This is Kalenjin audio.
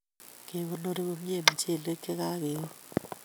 Kekonori komye mchelek che kakeun